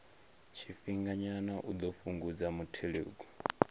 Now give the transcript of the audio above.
tshifhinganyana u ḓo fhungudza muthelogu